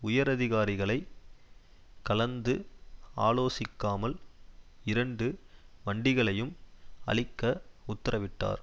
உயரதிகாரிகளை கலந்து ஆலோசிக்காமல் இரண்டு வண்டிகளையும் அழிக்க உத்தரவிட்டார்